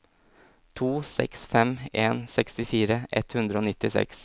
to seks fem en sekstifire ett hundre og nittiseks